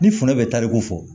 Ni foro bɛ tariku fɔ